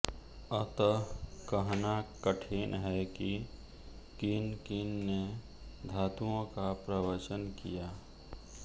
अतः कहना कठिन है कि किन किन ने धातुओं का प्रवचन किया